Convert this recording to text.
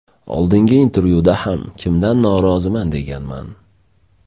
Oldingi intervyuda ham kimdan noroziman deganman.